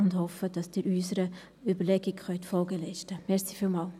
Wir hoffen, dass Sie unserer Überlegung Folge leisten können.